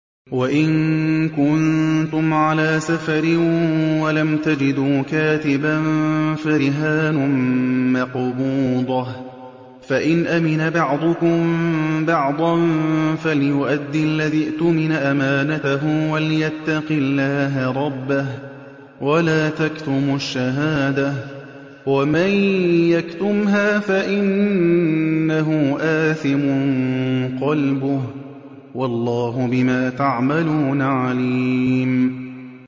۞ وَإِن كُنتُمْ عَلَىٰ سَفَرٍ وَلَمْ تَجِدُوا كَاتِبًا فَرِهَانٌ مَّقْبُوضَةٌ ۖ فَإِنْ أَمِنَ بَعْضُكُم بَعْضًا فَلْيُؤَدِّ الَّذِي اؤْتُمِنَ أَمَانَتَهُ وَلْيَتَّقِ اللَّهَ رَبَّهُ ۗ وَلَا تَكْتُمُوا الشَّهَادَةَ ۚ وَمَن يَكْتُمْهَا فَإِنَّهُ آثِمٌ قَلْبُهُ ۗ وَاللَّهُ بِمَا تَعْمَلُونَ عَلِيمٌ